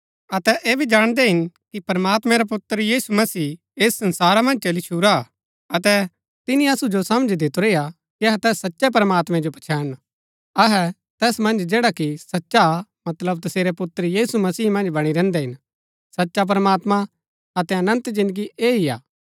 अतै ऐह भी जाणदै हिन कि प्रमात्मैं रा पुत्र यीशु मसीह ऐस संसारा मन्ज चली छूरा अतै तिनी असु जो समझ दितुरी हा कि अहै तैस सच्चै प्रमात्मैं जो पछैणन अहै तैस मन्ज जैडा कि सचा हा मतलब तसेरै पुत्र यीशु मसीह मन्ज बणी रैहन्दै हिन सचा प्रमात्मां अतै अनन्त जिन्दगी ऐह ही हा